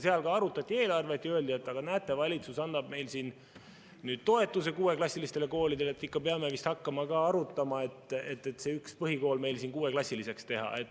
Seal ka arutati eelarvet ja öeldi, et aga näete, valitsus annab nüüd toetust kuueklassilistele koolidele, ikka peame vist ka hakkama arutama, et see üks põhikool kuueklassiliseks teha.